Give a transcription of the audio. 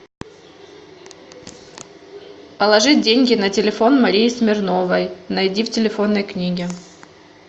положить деньги на телефон марии смирновой найди в телефонной книге